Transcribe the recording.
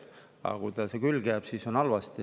Aga kui tal see külge jääb, siis on halvasti.